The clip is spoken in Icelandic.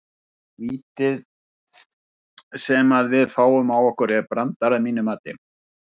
Vítið sem að við fáum á okkur er brandari að mínu mati.